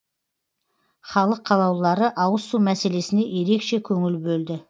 халық қалаулылары ауызсу мәселесіне ерекше көңіл бөлді